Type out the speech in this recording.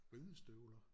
Ridestøvler